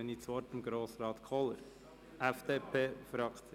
dann gebe ich das Wort an Grossrat Kohler, FDP-Fraktion.